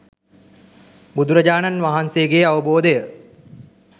බුදුරජාණන් වහන්සේගේ අවබෝධය